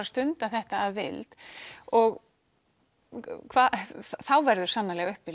stunda þetta að vild og þá verður sannarlega uppi